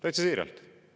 Täitsa siiralt.